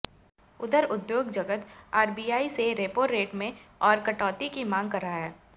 उधर उद्योग जगत आरबीआई से रेपो रेट में और कटौती की मांग कर रहा है